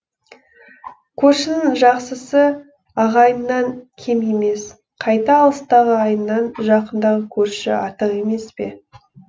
көршінің жақсысы ағайыннан кем емес қайта алыстағы ағайыннан жақындағы көрші артық емес пе